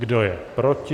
Kdo je proti?